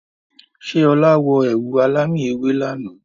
Ṣé ọ̀la wọ ẹ̀wù alámì ewé lànà?